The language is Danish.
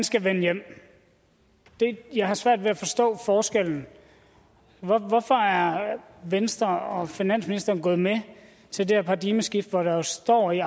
skal vende hjem jeg har svært ved at forstå forskellen hvorfor er venstre og finansministeren gået med til det her paradigmeskifte hvor der jo står i